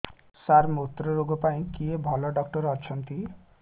ସାର ମୁତ୍ରରୋଗ ପାଇଁ କିଏ ଭଲ ଡକ୍ଟର ଅଛନ୍ତି